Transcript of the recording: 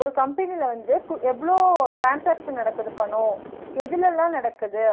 ஒரு company ல வந்து குட் எவ்ளோ transaction நடக்குது பனோ, எதுல லா நடக்குது